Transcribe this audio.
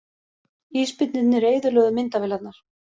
Ísbirnirnir eyðilögðu myndavélarnar